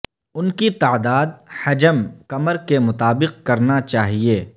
ان کی تعداد حجم کمر کے مطابق کرنا چاہئے